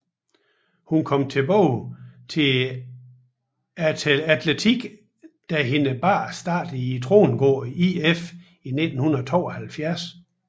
Hun kom tilbage til atletiken da hendes børn startede i Trongården IF i 1972